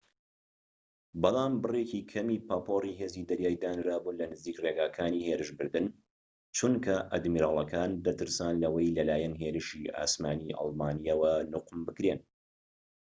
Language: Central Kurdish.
بەڵام بڕێکی کەمی پاپۆری هێزی دەریایی دانرابوون لە نزیك ڕێگەکانی هێرشبردن چونکە ئادمیرالەکان دەترسان لەوەی لەلایەن هێرشیی ئاسمانیی ئەڵمانییەوە نوقم بکرێن